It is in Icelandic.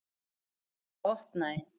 Við það opnaði